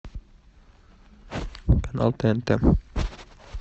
канал тнт